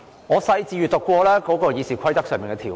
我仔細審閱了《議事規則》的條文。